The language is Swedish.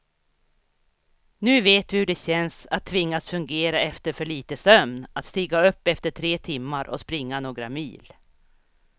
Nu vet vi hur det känns att tvingas fungera efter för lite sömn, att stiga upp efter tre timmar och springa några mil.